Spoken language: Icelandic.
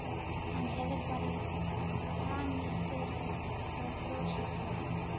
Hann hefur bara paníkerað og frosið, sagði hann.